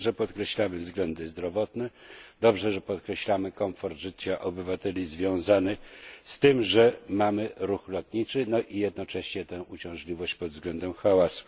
Dobrze, że podkreślamy względy zdrowotne, dobrze że podkreślamy komfort życia obywateli związany z tym, że mamy ruch lotniczy, no i jednocześnie tę uciążliwość pod względem hałasu.